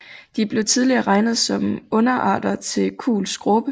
De blev tidligere regnet som underarter til kuhls skråpe